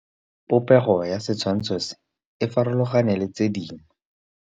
Popêgo ya setshwantshô se, e farologane le tse dingwe.